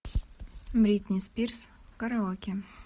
бритни спирс караоке